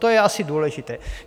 To je asi důležité.